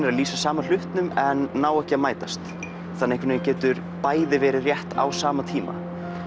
veru lýsa sama hlutnum en ná ekki að mætast þannig getur bæði verið rétt á sama tíma